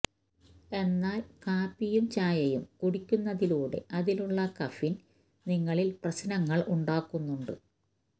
എന്നാൽ കാപ്പിയും ചായയും കുടിക്കുന്നതിലൂടെ അതിലുള്ള കഫീന് നിങ്ങളിൽ പ്രശ്നങ്ങൾ ഉണ്ടാക്കുന്നുണ്ട്